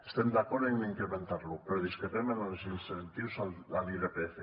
estem d’acord en incrementar lo però discrepem en els incentius a l’irpf